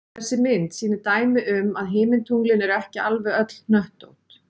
þessi mynd sýnir dæmi um að himintunglin eru ekki alveg öll hnöttótt